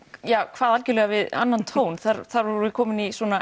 kvað við annan tón þar þar vorum við komin í